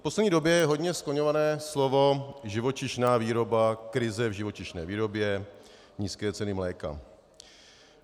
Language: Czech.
V poslední době je hodně skloňované slovo živočišná výroba, krize v živočišné výrobě, nízké ceny mléka.